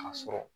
A sɔrɔ